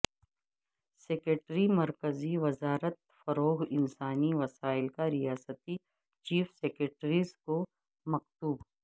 secretary مرکزی وزارت فروغ انسانی وسائل کا ریاستی چیف سکریٹریز کو مکتوب